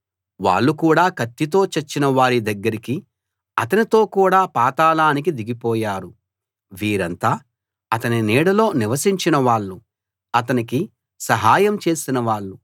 వాళ్ళు కూడా కత్తితో చచ్చిన వారి దగ్గరికి అతనితో కూడా పాతాళానికి దిగిపోయారు వీరంతా అతని నీడలో నివసించిన వాళ్ళు అతనికి సహాయం చేసిన వాళ్ళు